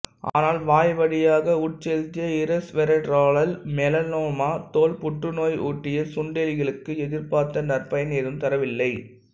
ஆனால் வாய்வழியாக உட்செலுத்திய இரெசுவெரட்ராலால் மெலானோமா தோல் புற்றுநோய் ஊட்டிய சுண்டெலிகளுக்கு எதிர்பார்த்த நற்பயன் ஏதும் தரவில்லை